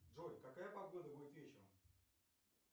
джой какая погода будет вечером